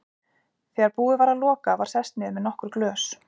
Þegar búið var að loka var sest niður með nokkur glös.